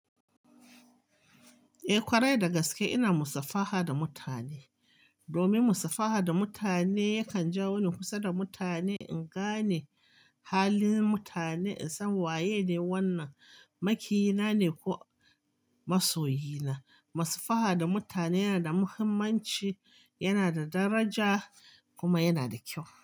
Eh ƙwarai, da gaske ina musafaha da mutane. Domin musafaha da mutane ya kan jawo ni kusa da mutane, in gane halin mutane, in san waye ne wannan makiyina ne ko masoyina. Musafaha da mutane yana da muhimmanci, yana da daraja kuma yana da kyau.